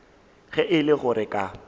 ge e le gore ka